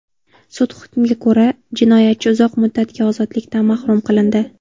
Sud hukmiga ko‘ra jinoyatchi uzoq muddatga ozodlikdan mahrum qilindi.